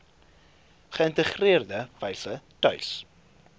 geïntegreerde wyse tuis